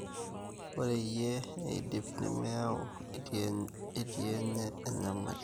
Ore eyie eidip nemeyau etii enye enyamali.